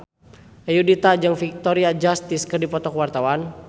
Ayudhita jeung Victoria Justice keur dipoto ku wartawan